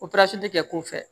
O kɛ ko fɛ